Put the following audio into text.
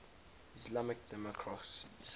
islamic democracies